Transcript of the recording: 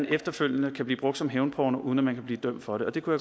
efterfølgende kan blive brugt som hævnporno uden at man kan blive dømt for det det kunne